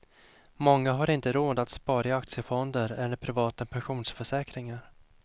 Många har inte råd att spara i aktiefonder eller privata pensionsförsäkringar.